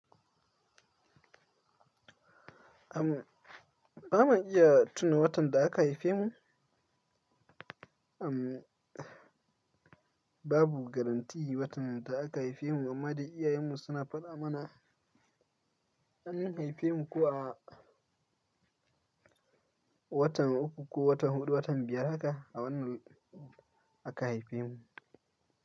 Ba ma iya tuni watan da aka haife mu. Babu garantin watan da aka haife mu amma dai iyayenmu suna faɗa mana an haife mu ko a watan uku, ko watan huɗu, watan biyar haka a wannan aka haife mu.